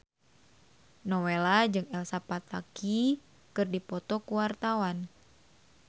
Nowela jeung Elsa Pataky keur dipoto ku wartawan